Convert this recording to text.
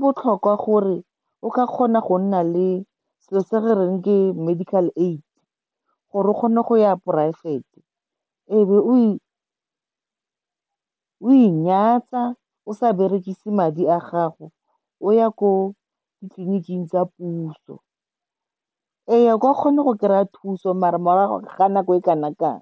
botlhokwa gore o ka kgona go nna le selo se re reng ke medical aid, gore o kgone go ya poraefete. Ebe o inyatsa, o sa berekise madi a gago, o ya ko ditleliniking tsa puso. Ee, o ka kgona go kry-a thuso, maar morago ga nako e kana kang.